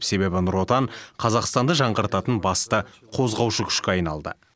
себебі нұр отан қазақстанды жаңғыртатын басты қозғаушы күшке айналды